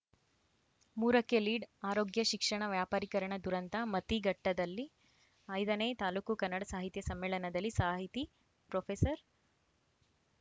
ಮೂರಕ್ಕೆಲೀಡ್‌ ಆರೋಗ್ಯ ಶಿಕ್ಷಣ ವ್ಯಾಪರೀಕರಣ ದುರಂತ ಮತಿಘಟ್ಟದಲ್ಲಿ ಐದನೇ ತಾಲೂಕು ಕನ್ನಡ ಸಾಹಿತ್ಯ ಸಮ್ಮೇಳನದಲ್ಲಿ ಸಾಹಿತಿ ಪ್ರೊಫೆಸರ್